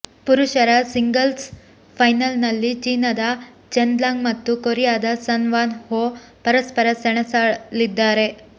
ಪುರುಷರ ಸಿಂಗಲ್ಸ್ ಫೈನಲ್ನಲ್ಲಿ ಚೀನದ ಚೆನ್ ಲಾಂಗ್ ಮತ್ತು ಕೊರಿಯಾದ ಸನ್ ವಾನ್ ಹೊ ಪರಸ್ಪರ ಸೆಣಸಲಿದ್ದಾರೆ